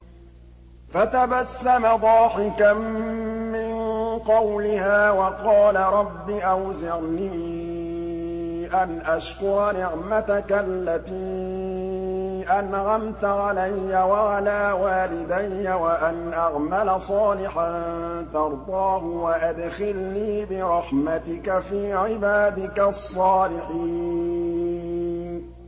فَتَبَسَّمَ ضَاحِكًا مِّن قَوْلِهَا وَقَالَ رَبِّ أَوْزِعْنِي أَنْ أَشْكُرَ نِعْمَتَكَ الَّتِي أَنْعَمْتَ عَلَيَّ وَعَلَىٰ وَالِدَيَّ وَأَنْ أَعْمَلَ صَالِحًا تَرْضَاهُ وَأَدْخِلْنِي بِرَحْمَتِكَ فِي عِبَادِكَ الصَّالِحِينَ